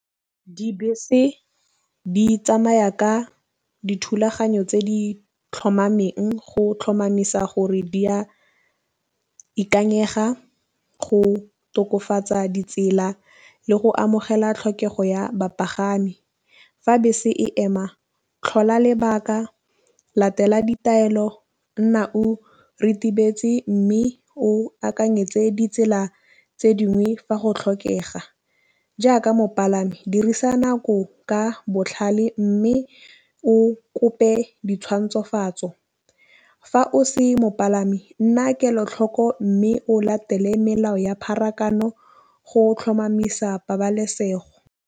Dibese di tsamaya ka dithulaganyo tse di tlhomameng go tlhomamisa gore di ya ikanyega go tokafatsa ditsela le go amogela tlhokego ya bapagami. Fa bese e ema tlhola lebaka latela ditaelo nna o ritibetse mme o akanyetse ditsela tse dingwe fa go tlhokega, jaaka mopalami dirisa nako ka botlhale mme o kope ditshwantshoatso. Fa o se mopalami nna kelotlhoko mme o latele melao ya pharakano go tlhomamisa pabalesego.